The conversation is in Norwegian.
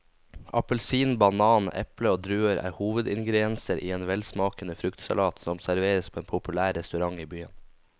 Appelsin, banan, eple og druer er hovedingredienser i en velsmakende fruktsalat som serveres på en populær restaurant i byen.